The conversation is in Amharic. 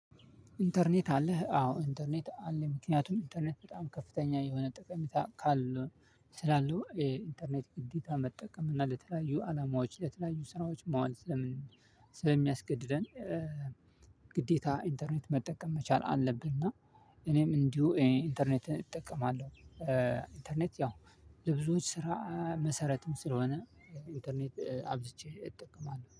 ኢንተርኔት አለህ? አዎ። ኢንተርኔት አለኝ። ምክንያቱም ኢንተርኔት በጣም ከፍተኛ የሆነ ጠቀሜታ ካለ ስላለው የኢንተርኔት ግዴታ መጠቀም እና ለተለያዩ አላማዎች ለተለያዩ ስራዎች መዋል። ስለሚያስገድደን። ግዴታ ኢንተርኔት መጠቀም መቻል አለብንና። እኔም እንዲሁ ኢንተርኔትን እጠቀማለሁ። ኢንተርኔት ያው ለብዙዎች ስራ መሰረትም ስለሆነ ኢንተርኔት አብዝቼ እጠቀማለሁ